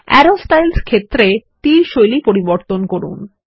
আরো স্টাইলস ক্ষেত্রে তীর শৈলী পরিবর্তন করুন